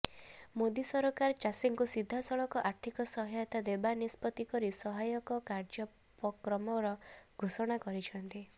ମୋଦୀ ସରକାର ଚାଷୀଙ୍କୁ ସିଧାସଳଖ ଆର୍ଥିକ ସହାୟତା ଦେବା ନିଷ୍ପତ୍ତି କରି ସହାୟକ କାର୍ୟ୍ୟପକ୍ରମର ଘୋଷଣା କରିଛନ୍ତି